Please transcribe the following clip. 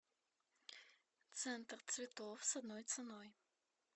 центр цветов с одной ценой